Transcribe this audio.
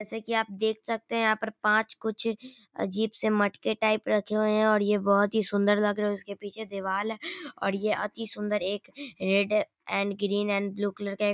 जैसे की आप देख सकते हैं यहाँ पर पाच कुछ अजीब से मटके टाइप रखे हुए हैं और ये बहोत ही सुंदर लग रहे हैं। इसके पीछे दीवाल है और ये अति सुंदर एक रेड है and green and blue colour का एक --